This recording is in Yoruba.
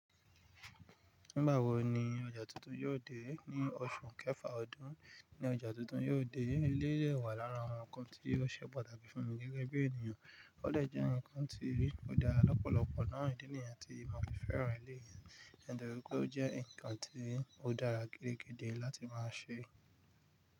Nígbà wo ni ọjà tuntun yóò dé? Ní oṣù kẹfà ọdún. Ní ọjà tuntun yóò dé. Eleyii dẹ wà lára àwọn nnkan tí o ṣe pàtàkì fún mi gẹ́gẹ́ bí ènìyàn. O dẹ nnkan tí ó dára lọ́pọ̀lọpọ̀ náà ní ìdí nìyẹn tí mo fi fẹ́ràn eleyii, nítorí pé ó jẹ́ nnkan tí ó dára gidigidi láti máa ṣe.